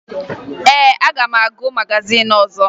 Ee, aga m agụ magazin ọzọ